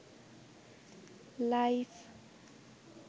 life